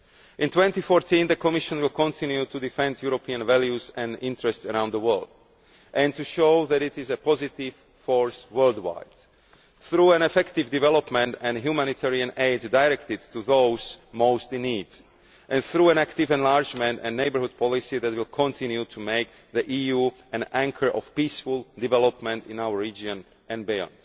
In 2014 the Commission will continue to defend European values and interests around the world and to show that it is a positive force worldwide through effective development and humanitarian aid directed to those most in need and through an active enlargement and neighbourhood policy that will continue to make the EU an anchor of peaceful development in our region and beyond.